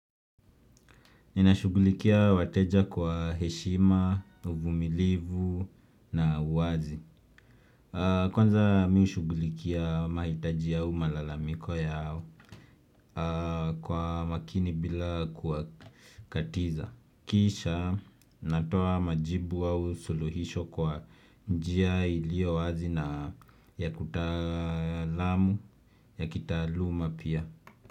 Ninashugulikia wateja kwa heshima, uvumilivu na uwazi. Kwanza mimi hushugulikia mahitaji au malalamiko yao kwa makini bila kuwakatiza. Kisha natoa majibu au suluhisho kwa njia iliyo wazi na ya kitaluma pia.